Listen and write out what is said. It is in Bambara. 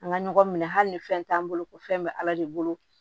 An ka ɲɔgɔn minɛ hali ni fɛn t'an bolo ko fɛn bɛ ala de bolo